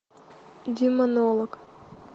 демонолог